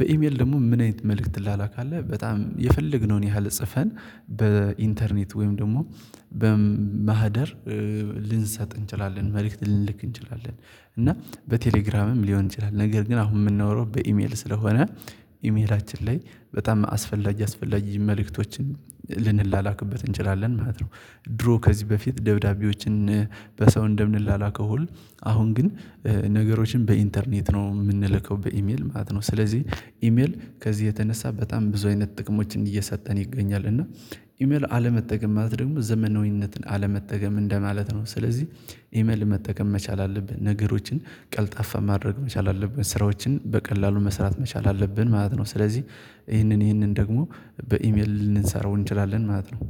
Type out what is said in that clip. በኢሜል ደግሞ ምን አይነት መልእክት ትላላካለህ በጣም የፈለግነውን ያህል ጽፈን በኢንተርኔት ወይም ደግሞ በማህደር ልንሰጥ እንችላለን መልእክት ልንልክ እንችላለን እና በቴሌግራምም ሊሆን ይችላል ነገር ግን አሁን የምናወራው በኢሜል ስለሆነ ኢሜላችን ላይ በጣም አስፈላጊ አስፈላጊ መልእክቶችን ልንላላክበት እንችላለን ማለት ነው ድሮ ከዚህ በፊት ደብዳቤዎችን በሰው እንደምንላላከው ሁሉ አሁን ግን ነገሮችን በኢንተርኔት ነው የምንልከው በኢሜል ማለት ነው ስለዚህ ኢሜል ከዚህ የተነሳ በጣም ብዙ አይነት ጥቅሞችን እየሰጠን ይገኛል እና ኢሜል አለመጠቀም ማለት ደግሞ ዘመናዊነትን አለመጠቀም እንደማለት ነው ስለዚህ ኢመል መጠቀም መቻል አለብን ነገሮችን ቀልጣፋ ማድረግ መቻል አለብን ስራዎችን በቀላሉ መስራት መቻል አለብን ማለት ነው ስለዚህ ይሄንን ይሄንን ደግሞ በኢሜል ልንሰራው እንችላለን ማለት ነው